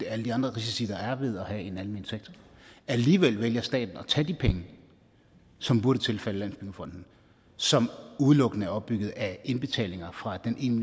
alle de andre risici der er ved at have en almen sektor alligevel vælger staten at tage de penge som burde tilfalde landsbyggefonden som udelukkende er opbygget af indbetalinger fra den en